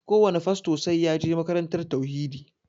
Kowane fasto sai ya je makarantar tauhidi